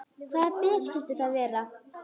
Hvaða ber skyldu það vera?